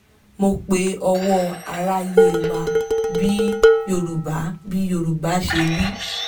mo pe ọwọ́ aráyé wá; bí yorùbá bí yorùbá ṣe wí